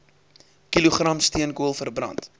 kilogram steenkool verbrand